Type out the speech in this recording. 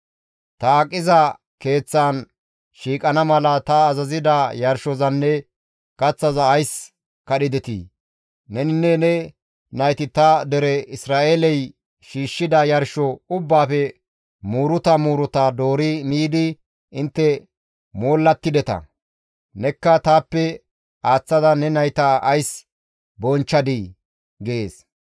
Ta aqiza keeththaan shiiqana mala ta azazida yarshozanne kaththaza ays kadhidetii? Neninne ne nayti ta dere Isra7eeley shiishshida yarsho ubbaafe muuruta muuruta doori miidi intte moollattideta; nekka taappe aaththada ne nayta ays bonchchadii?› gees.